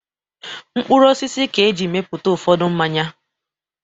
Mkpụrụ osisi ka e jiri mepụta ụfọdụ mmanya.